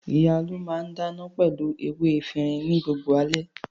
Ìyá Olú máà ń dáná pẹ̀lú ewé efirin ní gbogbo alẹ́.